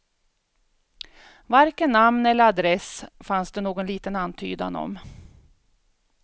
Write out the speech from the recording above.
Varken namn eller adress fanns det någon liten antydan om.